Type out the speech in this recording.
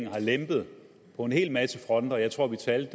har lempet på en hel masse fronter jeg tror vi talte